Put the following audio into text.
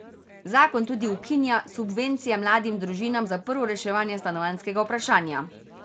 Zakon tudi ukinja subvencije mladim družinam za prvo reševanje stanovanjskega vprašanja.